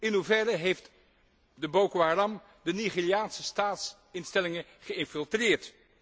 In hoeverre heeft de Boko Haram de Nigeriaanse staatsinstellingen geïnfiltreerd?